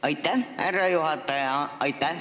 Aitäh, härra juhataja!